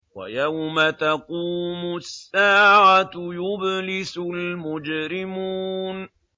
وَيَوْمَ تَقُومُ السَّاعَةُ يُبْلِسُ الْمُجْرِمُونَ